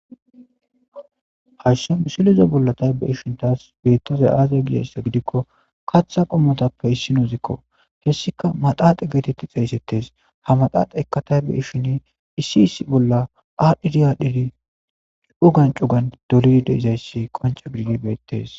hashso misiliza bolla taybeishin taas bettizay aazaya giyassa gidikko kaththa qommotappe issinozikko hessika maxaaxe geetetti xeeysettes ha maxaxe ekka taybe ishin iisi isi bolla adhidi aadhidi u gancu gan dorid deeizayssi qonca bididi beyttes